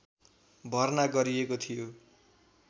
भर्ना गरिएको थियो